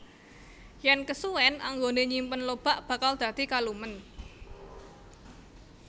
Yen kesuwèn anggone nyimpen lobak bakal dadi kalumen